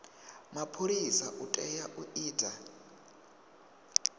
mapholisa u tea u ita